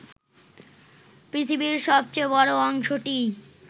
পৃথিবীর সবচেয়ে বড় অংশটিই